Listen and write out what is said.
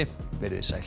verið sæl